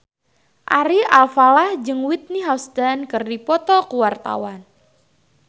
Ari Alfalah jeung Whitney Houston keur dipoto ku wartawan